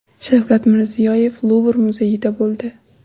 Shavkat Mirziyoyev Luvr muzeyida bo‘ldi.